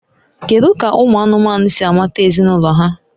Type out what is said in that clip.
Kedu ka ụmụ anụmanụ si amata ezinụlọ ha?